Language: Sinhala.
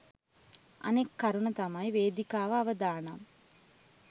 අනෙක් කරුණ තමයි වේදිකාව අවදානම්